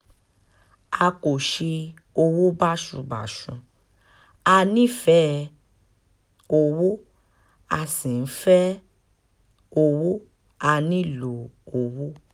a kò ṣe owó báṣubàṣu a nífẹ̀ẹ́ um owó a sì ń fẹ́ owó um a nílò owó